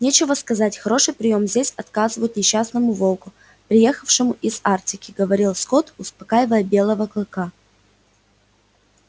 нечего сказать хороший приём здесь оказывают несчастному волку приехавшему из арктики говорил скотт успокаивая белого клыка